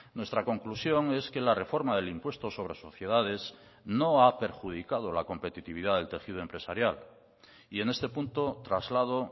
nuestra conclusión es que la reforma del impuesto sobre sociedades no ha perjudicado la competitividad del tejido empresarial y en este punto traslado